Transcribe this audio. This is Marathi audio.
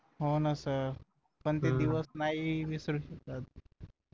होना सर पण ते दिवस नाही विसरू शकत